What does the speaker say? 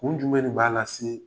Kun jumɛ de b'a lase